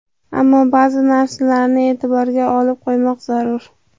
Ammo ba’zi narsalarni e’tiborga olib qo‘ymoq zarur.